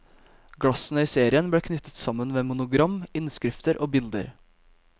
Glassene i serien ble knyttet sammen ved monogram, innskrifter og bilder.